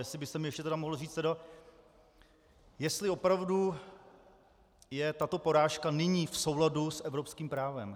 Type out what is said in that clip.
Jestli byste mi ještě mohl říci, jestli opravdu je tato porážka nyní v souladu s evropským právem.